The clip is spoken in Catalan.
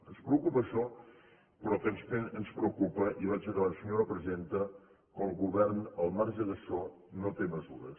ens preocupa això però també ens preocupa i vaig acabant senyora presidenta que el govern al marge d’això no té mesures